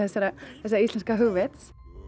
þessa íslenska hugvits